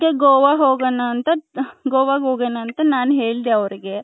ಗೋವ ಹೋಗೋಣ ಅಂತ ಗೋವ ಹೋಗೋಣ ಅಂತ ನನ್ ಹೇಳ್ದೆ ಅವರ್ಗೆ .